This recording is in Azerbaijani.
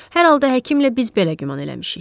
Hər halda həkimlə biz belə güman eləmişik.